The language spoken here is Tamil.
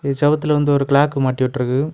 இந்த செவுத்துல வந்து ஒரு கிளாக் மாட்டிவிட்டுருக்கு.